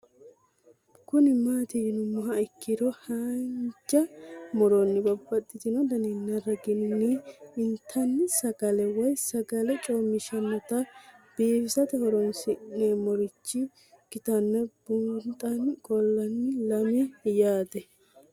Kuni mati yinumoha ikiro hanja muroni babaxino daninina ragini intani sagale woyi sagali comishatenna bifisate horonsine'morich ikinota bunxana qoleno lame yaate?